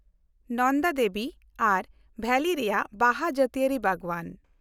ᱱᱚᱱᱫᱟ ᱫᱮᱵᱤ ᱟᱨ ᱵᱷᱮᱞᱤ ᱨᱮᱭᱟᱜ ᱵᱟᱦᱟ ᱡᱟᱹᱛᱤᱭᱟᱹᱨᱤ ᱵᱟᱜᱽᱣᱟᱱ